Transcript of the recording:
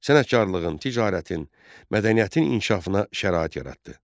Sənətkarlığın, ticarətin, mədəniyyətin inkişafına şərait yaratdı.